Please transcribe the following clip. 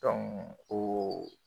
Dɔn o